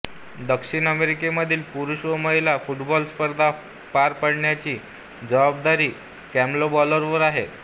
दक्षिण अमेरिकेमधील पुरूष व महिला फुटबॉल स्पर्धा पार पाडण्याची जबाबदारी कॉन्मेबॉलवर आहे